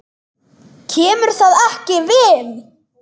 KEMUR ÞAÐ EKKI VIÐ!